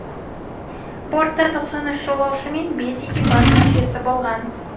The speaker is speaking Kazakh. бортта тоқсан үш жолаушы мен бес экипаж мүшесі болған